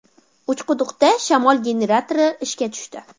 Uchquduqda shamol generatori ishga tushdi.